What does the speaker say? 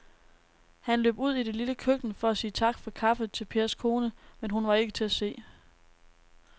Han løb ud i det lille køkken for at sige tak for kaffe til Pers kone, men hun var ikke til at se.